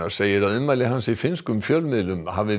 segir að ummæli hans í finnskum fjölmiðlum hafi